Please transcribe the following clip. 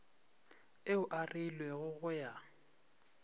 ao a reilwego go ya